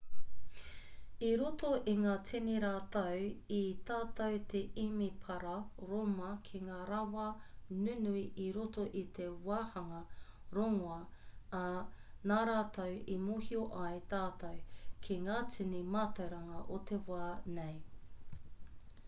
i roto i ngā tini rautau i tatū te emepara rōma ki ngā rawa nunui i roto i te wāhanga rongoā ā nā rātou i mōhio ai tātou ki ngā tini mātauranga o te wā nei